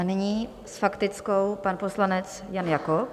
A nyní s faktickou pan poslanec Jan Jakob.